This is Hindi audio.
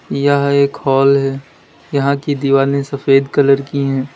यह एक हॉल है यहां की दीवाले सफेद कलर की हैं।